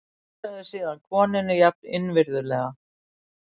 Heilsaði síðan konunni jafn innvirðulega.